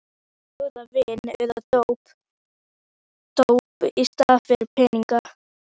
Sumir bjóða vín eða dóp í staðinn fyrir peninga.